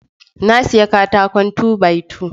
Na siya katakon two by two